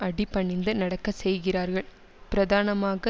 அடி பணிந்து நடக்க செய்கிறார்கள் பிரதானமாக